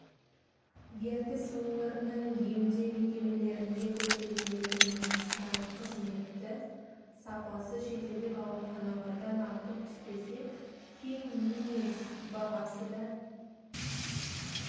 ертіс өңірінің емдеу мекемелерінде көрсетілетін медициналық қызметті сапасы шетелдік ауруханалардан артық түспесе кем емес бағасы да